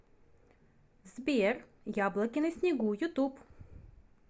сбер яблоки на снегу ютуб